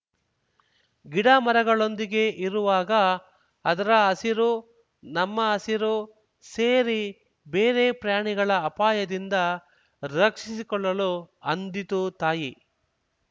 ಗಿಡಮರಗಳೊಂದಿಗೆ ಇರುವಾಗ ಅದರ ಹಸಿರು ನಮ್ಮ ಹಸಿರು ಸೇರಿ ಬೇರೆ ಪ್ರಾಣಿಗಳ ಅಪಾಯದಿಂದ ರಕ್ಷಿಸಿಕೊಳ್ಳಲು ಅಂದಿತು ತಾಯಿ